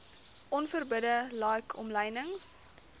onverbidde like omlynings